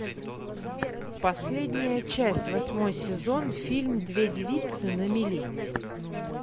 последняя часть восьмой сезон фильм две девицы на мели